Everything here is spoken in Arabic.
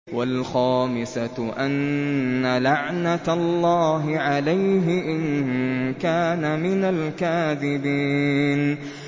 وَالْخَامِسَةُ أَنَّ لَعْنَتَ اللَّهِ عَلَيْهِ إِن كَانَ مِنَ الْكَاذِبِينَ